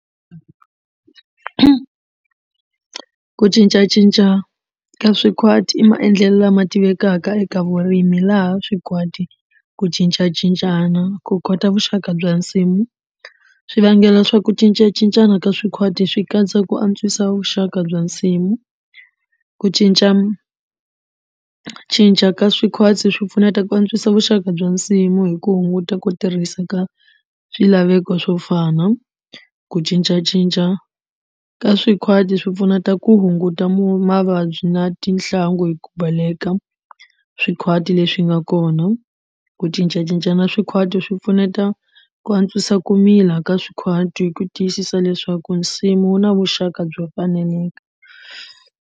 Ku cincacinca ka swikwati i maendlelo lama tivekaka eka vurimi laha swikhwati ku cincacincana ku kota vuxaka bya nsimu swivangelo swa ku cincacincana ka swikhwati swi katsa ku antswisa vuxaka bya nsimu ku cincacinca ka swikhwati swi pfuneta ku antswisa vuxaka bya nsimu hi ku hunguta ku tirhisa ka swilaveko swo fana ku cincacinca ka swikhwati swi pfuneta ku hunguta mu mavabyi na tinhlangu hi ku baleka swikhwati leswi swi nga kona ku cincacincana swikhwati swi pfuneta ku antswisa ku mila ka swikhwati hi ku tiyisisa leswaku nsimu na vuxaka byo faneleke.